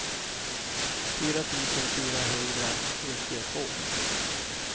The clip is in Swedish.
fyra tusen fyrahundranittiotvå